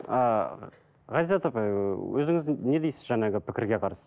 ыыы ғазизат апай ы өзіңіз не дейсіз жаңағы пікірге қарсы